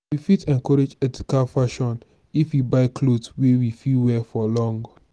we fit encourage ethical fashion if we buy cloth wey we fit wear for long